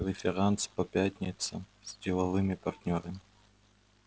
преферанс по пятницам с деловыми партнёрами